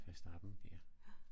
Verstappen ja